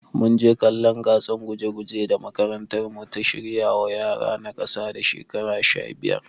Munje kallon gatsan guje guje da makarantar mu ta shirwa wa yara na kasa da shekaru sha biyar